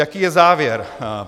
Jaký je závěr?